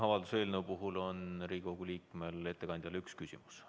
Avalduse eelnõu puhul on Riigikogu liikmel ettekandjale üks küsimus.